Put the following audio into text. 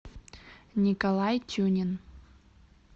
николай тюнин